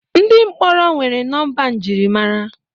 ndị mkpọrọ nwere nọmba njirimara